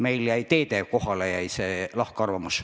Meil jäid teede kohapealt lahkarvamused.